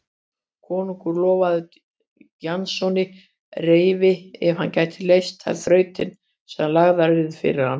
Konungur lofaði Jasoni reyfinu ef hann gæti leyst þær þrautir sem lagðar yrðu fyrir hann.